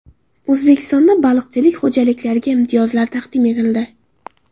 O‘zbekistonda baliqchilik xo‘jaliklariga imtiyozlar taqdim etildi.